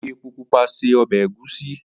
o fí èpo pupa ṣe ọbẹ egusi.